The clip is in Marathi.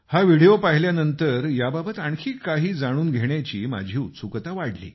हा व्हिडिओ पाहिल्यानंतर याबाबत आणखी काही जाणून घेण्याची माझी उत्सुकता वाढली